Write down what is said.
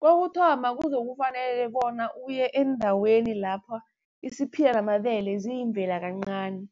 Kokuthoma kuzokufanele bona uye endaweni lapha isiphila namabele ziyimvela kancani,